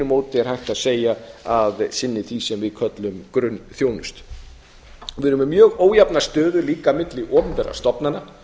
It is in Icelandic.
móti er hægt að segja að sinni því sem við köllum grunnþjónustu við erum með mjög ójafna stöðu líka milli opinberra stofnana